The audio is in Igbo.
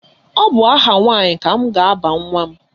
Ọ bụ aha nwaanyị ka m ga-aba nwa m.